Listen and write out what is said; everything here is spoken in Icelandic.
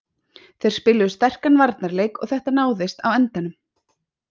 Þeir spiluðu sterkan varnarleik og þetta náðist á endanum